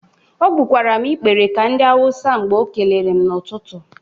O gbụkwara m ikpere ka ndị awusi mgbe o kelere m n'ụtụtụ.